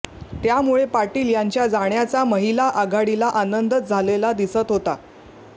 त्यामुळे पाटील यांच्या जाण्याचा महिला आघाडीला आनंदच झालेला दिसत होता